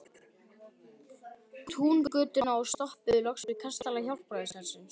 Túngötuna og stoppuðum loks við kastala Hjálpræðishersins.